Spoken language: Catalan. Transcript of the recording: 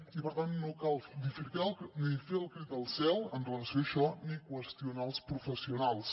i per tant no cal dir ni fer el crit al cel amb relació a això ni qüestionar els professionals